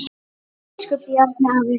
Elsku Bjarni afi.